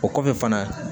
O kɔfɛ fana